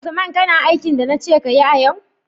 Usman kana aikin da nace kayi a yau?